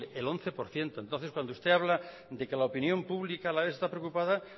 el once por ciento entonces cuando usted habla de que la opinión pública alavesa está preocupada